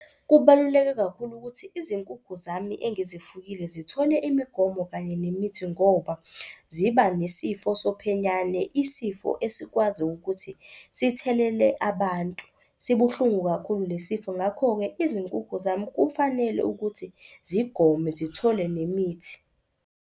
Kubaluleke kakhulu ukuthi izinkukhu zami engizifuyile zithole imigomo kanye nemithi ngoba ziba nesifo sophenyane, isifo esikwazi ukuthi sithelele abantu. Sibuhlungu kakhulu le sifo. Ngakho-ke izinkukhu zami kufanele ukuthi zigome zithole nemithi.